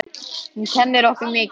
Hún kennir okkur mikið.